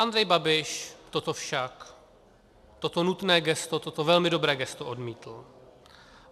Andrej Babiš toto však, toto nutné gesto, toto velmi dobré gesto odmítl.